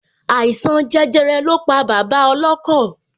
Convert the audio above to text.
Àìsàn jẹjẹrẹ lọ pa bàbá ọlọ́kọ̀